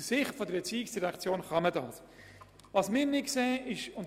Aus Sicht der ERZ kann man dies tun.